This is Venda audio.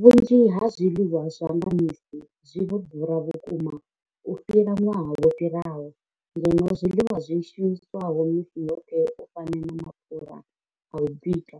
Vhunzhi ha zwiḽiwa zwa nga misi zwi vho ḓura vhukuma u fhira ṅwaha wo fhiraho, ngeno zwiḽiwa zwi shumiswaho misi yoṱhe u fana na mapfhura a u bika